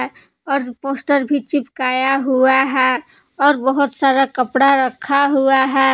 और पोस्टर भी चिपकाया हुआ है और बहोत सारा कपड़ा रखा हुआ है।